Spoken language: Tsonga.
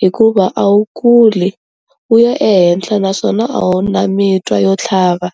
hikuva a wu kuli wu ya ehenhla naswona a wu na mitwa yo tlhava.